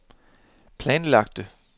planlagte